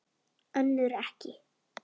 Önnur ekki.